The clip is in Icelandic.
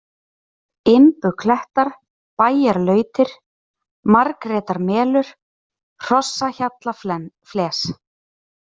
Imbuklettar, Bæjarlautir, Margrétarmelur, Hrossahjallafles